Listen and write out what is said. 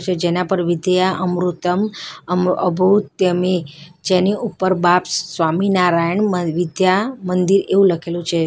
જેના પર વિદ્યા અમૃતમ અમો અબો ધ્યમે જેની ઉપર બાપ્સ સ્વામીનારાયણ મ વિદ્યા મંદિર એવું લખેલું છે.